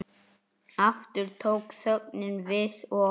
Aftur tók þögnin við og